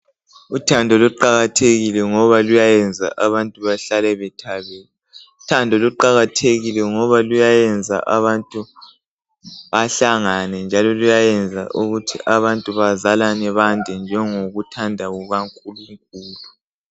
Uthando luqakathekile ngoba luyayenza abantu bahlale bethabile ,luqathekile ngoba luyenza abantu bande njengokuthanda kukaNkulunkulu.